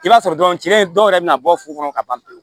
I b'a sɔrɔ dɔrɔn cɛ dɔw yɛrɛ bɛna bɔ furu kɔnɔ ka ban pewu